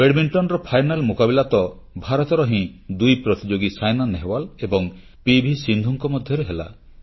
ବ୍ୟାଡମିଣ୍ଟନର final ମୁକାବିଲା ତ ଭାରତର ହିଁ ଦୁଇ ପ୍ରତିଯୋଗୀ ସାଇନା ନେହୱାଲ ଏବଂ ପିଭି ସିନ୍ଧୁଙ୍କ ମଧ୍ୟରେ ହେଲା